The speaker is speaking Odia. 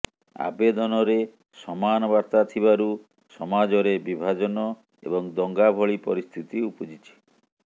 ଆବେଦନରେ ସମାନ ବାର୍ତ୍ତା ଥିବାରୁ ସମାଜରେ ବିଭାଜନ ଏବଂ ଦଙ୍ଗା ଭଳି ପରିସ୍ଥିତି ଉପୁଜିଛି